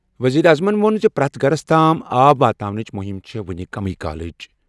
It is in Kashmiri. ؤزیٖرِ اعظم ووٚن زِ پرٛٮ۪تھ گَھرس تام آب واتناونٕچہِ مُہِم چھےٚ وۄنہِ ساڑِ ؤری گٔمٕژ۔